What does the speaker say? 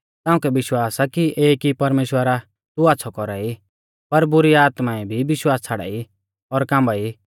ताउंकै विश्वास आ कि एक ई परमेश्‍वर आ तू आच़्छ़ौ कौरा ई पर बुरी आत्माऐं भी विश्वास छ़ाड़ाई और काम्बाई